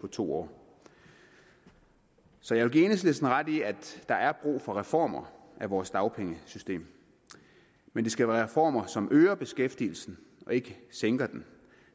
på to år så jeg vil give enhedslisten ret i at der er brug for reformer af vores dagpengesystem men det skal være reformer som øger beskæftigelsen og ikke sænker dem